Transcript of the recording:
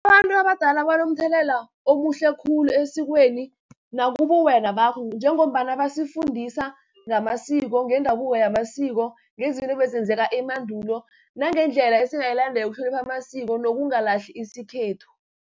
Abantu abadala banomthelela omuhle khulu esikweni nakubuwena bakho, njengombana basifundisa ngamasiko, ngendabuko yamasiko, ngezinto ebezenzeka emandulo, nangendlela esingayilandela ukuhlonipha amasiko, nokungalahli isikhethu.